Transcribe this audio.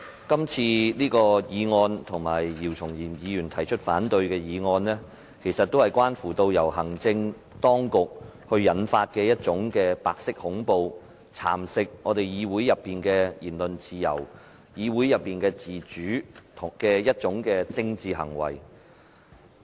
這次的議案，以及姚松炎議員提出的反對議案都是關乎行政當局引發的一種白色恐怖，是蠶食議會內的言論自由和自主的政治行為。